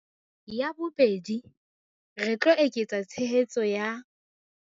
Ya bobedi, re tlo eketsa tshehetso ya